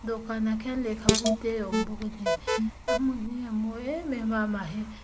dawhkanah khian lehkhabu te a awm bawk a ni a hmun hi a mawi em em a a mah hi.